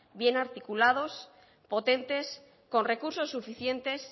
bien articulados potentes con recursos suficientes